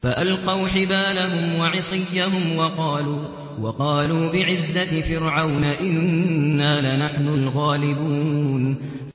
فَأَلْقَوْا حِبَالَهُمْ وَعِصِيَّهُمْ وَقَالُوا بِعِزَّةِ فِرْعَوْنَ إِنَّا لَنَحْنُ الْغَالِبُونَ